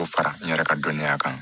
K'o fara n yɛrɛ ka dɔnniya kan